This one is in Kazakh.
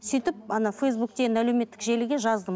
сөйтіп ана фейсбукке енді әлеуметтік желіге жаздым